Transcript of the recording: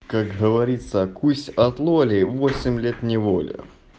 как говорится о кусь от лоли восемь лет неволи